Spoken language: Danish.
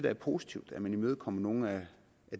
er positivt at man imødekommer nogle af